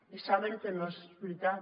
i saben que no és veritat